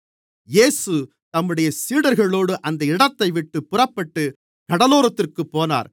இயேசு தம்முடைய சீடர்களோடு அந்த இடத்தைவிட்டுப் புறப்பட்டு கடலோரத்திற்குப் போனார்